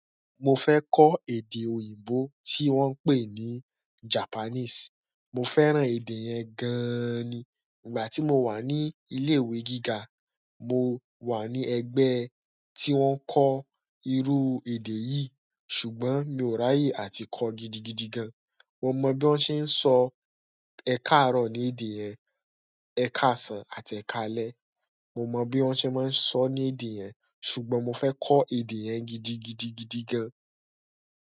Mo fẹ́ kọ́ èdè òyìnbó tí wọ́n pè ní Japanese. Mo fẹ́ràn èdè yẹn gaaani. Ìgbà tí mo wà ní ilé ìwé gíga, mo wà ní ẹgbẹ́ tí wọ́n ń kọ́ irú èdè yìí ṣùgbọ́n mi ò ráyè àti kọ́ gidigidi gan. Mo mọ bí wọ́n ṣe ń sọ ẹ káàárọ̀ ní èdè yẹn, ẹ káàsán àti ẹ káalẹ́. Mo mọ bí wọ́n ṣe máa ń sọ ní èdè yẹn ṣùgbọ́n mo fẹ́ kọ́ èdè yẹn gidigidigidi gan.